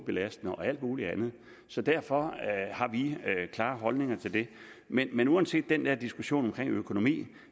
belastning og alt muligt andet så derfor har vi klare holdninger til det men men uanset den der diskussion omkring økonomi